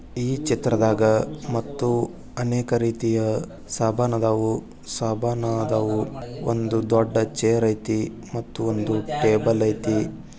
ಈ ಚಿತ್ರದಾಗ ಮತ್ತು ಅನೇಕ ರೀತಿಯ ಸಬನಾದವು-ಸಬನಾದವು ಒಂದು ದೊಡ್ಡ ಚೈರ್ ಅಯ್ತಿ ಮತ್ತು ಒಂದು ಟೇಬಲ್ ಅಯ್ತಿ.